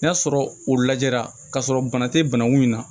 N'a sɔrɔ o lajɛra k'a sɔrɔ bana tɛ banakun in na